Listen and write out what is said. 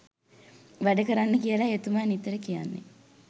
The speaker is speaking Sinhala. වැඩ කරන්න කියලයි එතුමා නිතර කියන්නේ.